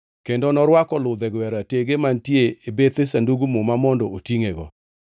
Kendo norwako ludhego ei ratege mantie e bethe Sandug Muma mondo otingʼego.